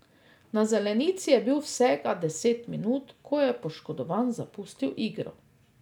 Na zelenici je bil vsega deset minut, ko je poškodovan zapustil igro.